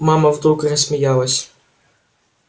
мама вдруг рассмеялась